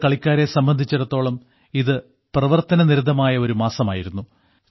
നമ്മുടെ കളിക്കാരെ സംബന്ധിച്ചിടത്തോളം ഇത് പ്രവർത്തന നിരതമായ ഒരു മാസമായിരുന്നു